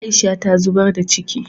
Aisha ta zubar da ciki